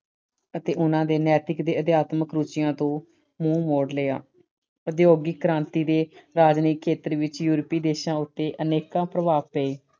ਅਤੇ ਉਹਨਾਂ ਦੇ ਨੈਤਿਕ ਅਤੇ ਅਧਿਆਤਮਿਕ ਰੁਚੀਆਂ ਤੋਂ ਮੂੰਹ ਮੋੜ ਲਿਆ। ਉਦਯੋਗਿਕ ਕ੍ਰਾਂਤੀ ਦੇ ਰਾਜਨੀਤਿਕ ਖੇਤਰ ਵਿੱਚ European ਦੇਸ਼ਾਂ ਉੱਤੇ ਅਨੇਕਾਂ ਪ੍ਰਭਾਵ ਪਏ।